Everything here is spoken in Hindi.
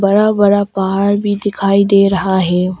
बड़ा बड़ा पहाड़ भी दिखाई दे रहा है।